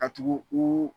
Ka tugu u